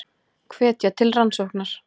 Hvetja til rannsóknar